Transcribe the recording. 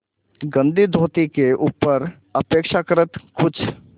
गंदी धोती के ऊपर अपेक्षाकृत कुछ